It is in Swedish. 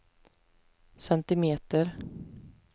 centimeter